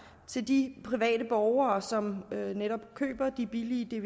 til de private borgere som netop køber de billige